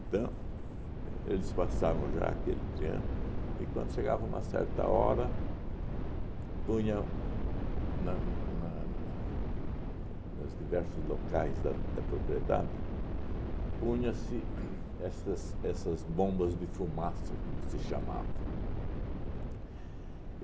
Então, eles passavam já aquele triângulo e quando chegava uma certa hora, punha na na na na na nas diversos locais da da propriedade, punha-se uhn essas essas bombas de fumaça, como se chamava.